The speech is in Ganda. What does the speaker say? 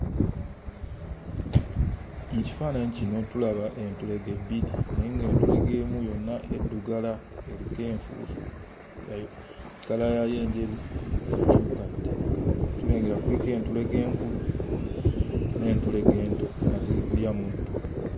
Mu kifaananyi kino tulaba entulege bbiri naye ng'etulege emu yonna eddugala eriko enfuufu nga yo kkala yaayo enjeru yakyuka dda tulengera kuliko entulege enkulu n'entulege ento nga ziri kulya muddo.